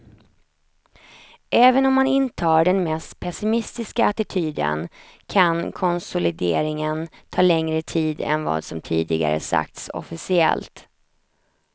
Även om man intar den mest pessimistiska attityden kan konsolideringen ta längre tid än vad som tidigare sagts officiellt.